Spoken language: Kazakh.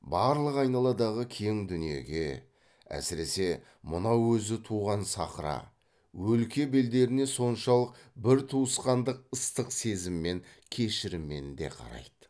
барлық айналадағы кең дүниеге әсіресе мынау өзі туған сахра өлке белдеріне соншалық бір туысқандық ыстық сезіммен кешіріммен де қарайды